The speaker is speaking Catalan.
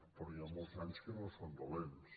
però hi ha molts anys que no són dolents